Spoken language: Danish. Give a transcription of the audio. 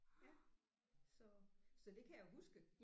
Ja så så det kan jeg huske